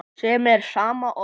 sem er sama og